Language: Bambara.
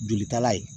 Jolitala ye